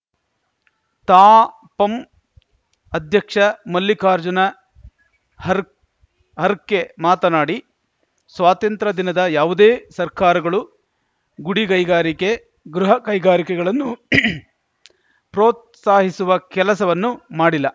ತಾಪಂ ಅಧ್ಯಕ್ಷ ಮಲ್ಲಿಕಾರ್ಜುನ ಹರ್ಕ್ ಹರ್ಕೆ ಮಾತನಾಡಿ ಸ್ವಾತಂತ್ರ್ಯದಿನದ ಯಾವುದೇ ಸರ್ಕಾರಗಳು ಗುಡಿಗೈಗಾರಿಕೆ ಗೃಹಕೖಗಾರಿಕೆಗಳನ್ನು ಪ್ರೋತ್ಸಾಹಿಸುವ ಕೆಲಸವನ್ನು ಮಾಡಿಲ್ಲ